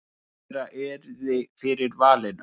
Hvor þeirra yrði fyrir valinu?